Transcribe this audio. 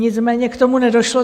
Nicméně k tomu nedošlo.